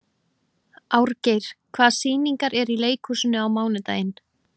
Árgeir, hvaða sýningar eru í leikhúsinu á mánudaginn?